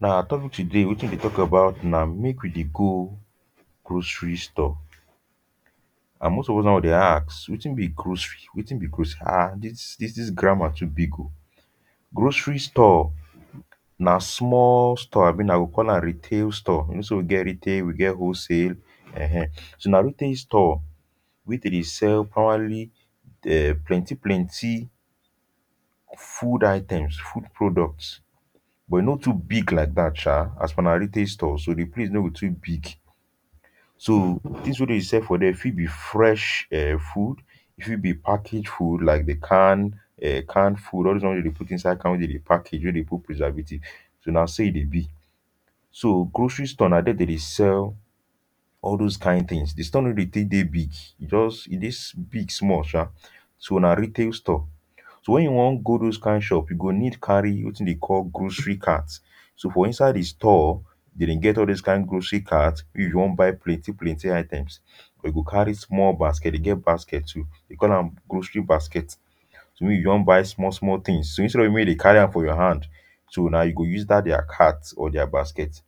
now our topic today wetin we deh talk about nah make we deh go grocery store and most of us now we deh ask wetin be grocery wetin be gros um this this this grammar to big o grocery store nah small store abi unah go call am retail store so we get retail we get whole sale um so nah retail store wey dem deh sale probably um plenty plenty food items food products but e no too big like that um as per nah retail store so the place no go too big so things weh them deh sell for there fit be fresh um food e fit be package food like de can um can food all those one weh they put inside can weh them deh package weh they put preservative so nah so e deh be so grocery store nah there them deh sell all those kind things the store no be thing weh big just e deh big small um so nah retail store so when you wan go those kind shops you go need carry wetin them call grocery cart so for inside the store them deh get all those kind grocery cart when you wan buy plenty plenty items you go carry small basket them get basket too they call am grocery basket so when you don buy small small things so instead of make you carry am for your hand so nah you go use that their cart or their basket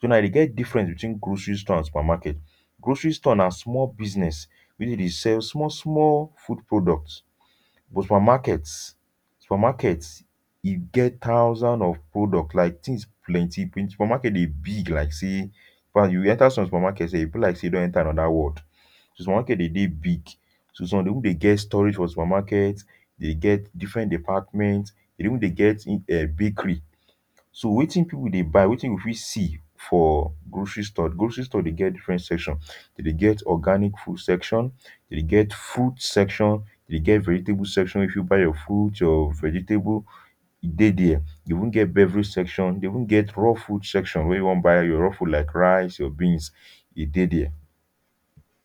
so now them get difference between grocery store and supermarket grocery store nah small business weh them deh sell small small food product but supermarket supermarket e get thousand of products like things plenty supermarket deh big like say now you enter some supermarket sef e be like say you don enter another world so supermarket deh deh big so some they even deh get storage for supermarket they get different department e deh even deh get bakery so wetin people deh buy wetin we fit see for grocery store grocery store deh get different section them deh get organic food section them deh get food section e deh get vegetable section if you buy your food your vegetable e deh there deh even get beverage section e deh even get raw food section where you wan buy your raw food like rice your beans e deh there.